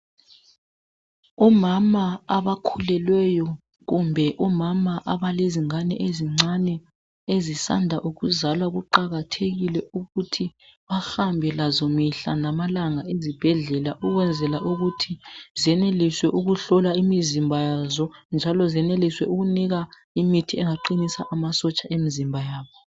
Omama abakhulelweyo kumbe omama abalezingane ezincane ezisanda ukuzalwa kuqakathekile ukuthi bahambe lazo mihla namalanga ezibhedlela ukwenzela ukuthi zeneliswe ukuhlolwa imizimba yazo njalo zeneliswe ukunikwa imithi engaqinisa amasotsha emizimba yabo.